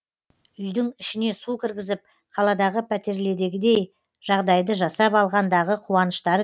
үйдің ішіне су кіргізіп қаладағы пәтерледегідей жағдайды жасап алғандағы қуаныштары